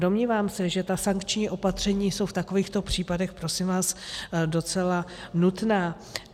Domnívám se, že ta sankční opatření jsou v takovýchto případech prosím vás docela nutná.